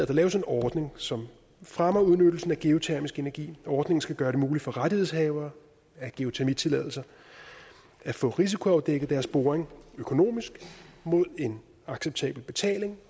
der laves en ordning som fremmer udnyttelsen af geotermisk energi ordningen skal gøre det muligt for rettighedshavere af geotermitilladelser at få risikoafdækket deres boring økonomisk mod en acceptabel betaling